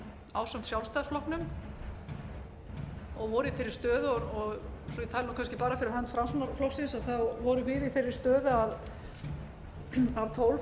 ásamt sjálfstæðisflokknum og voru í þeirri stöðu svo ég tali kannski bara fyrir hönd framsóknarflokksins þá vorum við í þeirri stöðu að af tólf